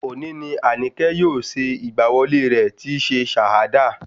Òní ni Àníkẹ́ yóò ṣe ìgbà wọlé rẹ̀ tíí ṣe Shahada